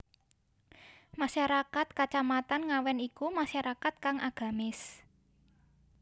Masyarakat Kacamatan Ngawen iku masyarakat kang agamis